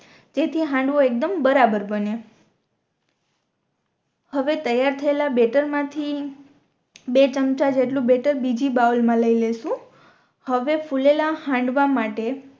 જે થી હાંડવો એકદમ બરાબર બને હવે તૈયાર થયેલા બેટર મા થી બે ચમચા જેટલો બેટર બીજી બાઉલ મા લઈ લેશુ હવે ફુલેલા હાંડવા માટે